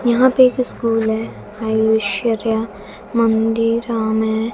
यहां पे एक स्कूल है मंदिरामे--